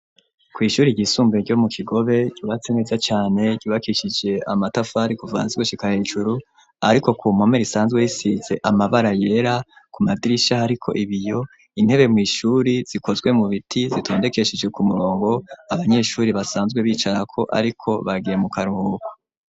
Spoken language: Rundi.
Kw'ishuri ryisumbuye ryo mu kigobe yubatse neza cane ribakishije amatafari kuvana zigushika hejuru ariko ku mpomeri isanzwe yisize amabara yera ku madirisha ariko ibiyo intebe mu ishuri zikozwe mu biti zitondekeshije ku murongo abanyeshuri basanzwe bicara ko ariko bagiye mu karuhuko.